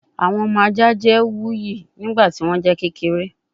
Awọn ọmọ aja jẹ wuyi nigbati wọn jẹ kekere